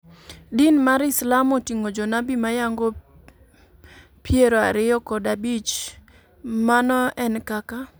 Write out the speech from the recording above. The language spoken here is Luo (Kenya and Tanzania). Din mar islam oting'o jonabi mayango piero ariyo kod abich, mano en kaka.